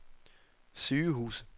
sygehuse